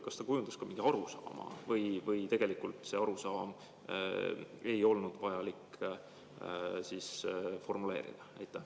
Kas ta kujundas ka mingi arusaama või seda arusaama ei olnud vajalik formuleerida?